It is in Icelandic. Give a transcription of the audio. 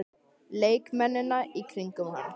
Leikmennina í kringum hann?